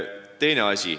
Teine asi.